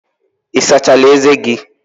Ị sachala ezé gị?